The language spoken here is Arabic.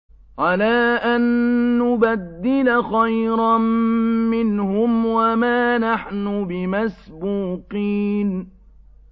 عَلَىٰ أَن نُّبَدِّلَ خَيْرًا مِّنْهُمْ وَمَا نَحْنُ بِمَسْبُوقِينَ